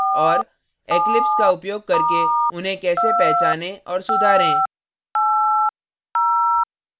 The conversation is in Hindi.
eclipse का उपयोग करके उन्हें कैसे पहचाने और सुधारें